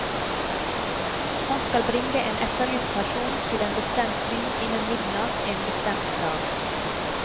Han skal bringe en etterlyst person til en bestemt by innen midnatt en bestemt dag.